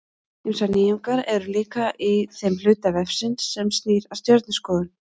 Ýmsar nýjungar eru líka í þeim hluta vefsins sem snýr að stjörnuskoðun.